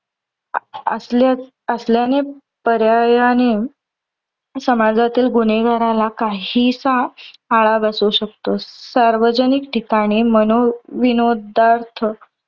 असल्या असल्याने पर्यायाने समाजातील गुन्हेगाराला काहीसा आळा बसू शकतो. सार्वजनिक ठिकाणी मनोविनोदार्थ